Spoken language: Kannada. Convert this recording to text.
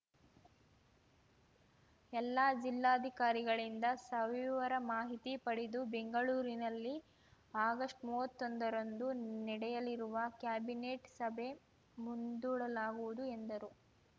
ಎಲ್ಲಾ ಜಿಲ್ಲಾಧಿಕಾರಿಗಳಿಂದ ಸವಿವರ ಮಾಹಿತಿ ಪಡೆದು ಬೆಂಗಳೂರಿನಲ್ಲಿ ಆಗಸ್ಟ್ಮೂವತ್ತೊಂದರಂದು ನಡೆಯಲಿರುವ ಕ್ಯಾಬಿನೆಟ್‌ ಸಭೆ ಮುಂದೂಡಲಾಗುವುದು ಎಂದರು